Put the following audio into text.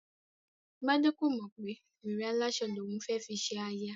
Gbadé kò mọ̀ pé wèrè aláṣọ ni òun fẹ́ fi ṣe aya